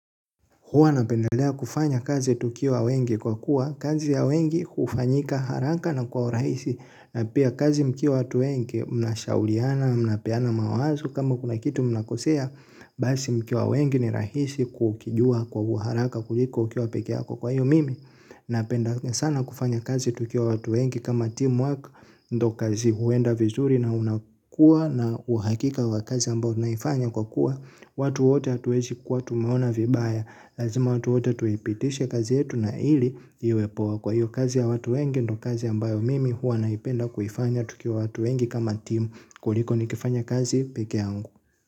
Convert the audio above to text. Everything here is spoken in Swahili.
Huwa napendelea kufanya kazi tukiwa wengi kwa kuwa kazi ya wengi hufanyika haraka na kwa urahisi na pia kazi mkiwa watu wengi mnashauriana mnapeana mawazo kama kuna kitu mnakosea basi mkiwa wengi ni rahisi kukijua kwa haraka kuliko ukiwa pekee yako kwa hiyo mimi napendelea sana kufanya kazi tukiwa watu wengi kama teamwork ndio kazi huenda vizuri na unakuwa na uhakika wa kazi ambao unaifanya kwa kuwa watu wote hatuwezi kuwa tumeona vibaya. Lazima watu wote tuipitishe kazi yetu na ili iwe poa kwa hivyo kazi ya watu wengi ndio kazi ambayo mimi huwa naipenda kuifanya. Tukiwa watu wengi kama timu. Kuliko nikifanya kazi pekee yangu.